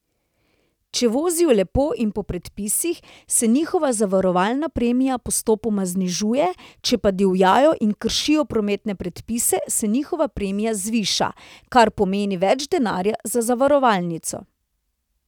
Če vozijo lepo in po predpisih, se njihova zavarovalna premija postopoma znižuje, če pa divjajo in kršijo prometne predpise, se njihova premija zviša, kar pomeni več denarja za zavarovalnico.